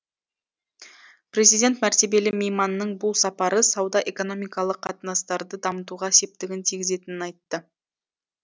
президент мәртебелі мейманның бұл сапары сауда экономикалық қатынастарды дамытуға септігін тигізетінін айтты